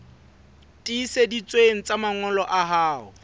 tiiseditsweng tsa mangolo a hao